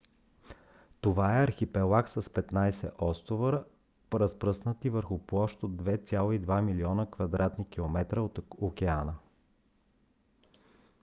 това е архипелаг с 15 острова разпръснати върху площ от 2,2 милиона км2 от океана